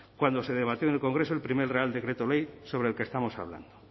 cuando se debatió en el congreso el primer real decreto ley sobre el que estamos hablando